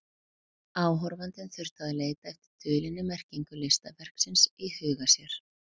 Áhorfandinn þurfti að leita eftir dulinni merkingu listaverksins í huga sér.